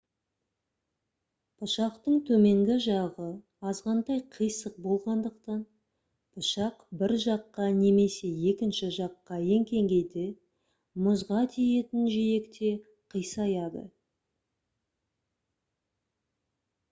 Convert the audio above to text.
пышақтың төменгі жағы азғантай қисық болғандықтан пышақ бір жаққа немесе екінші жаққа еңкейгенде мұзға тиетін жиекте қисаяды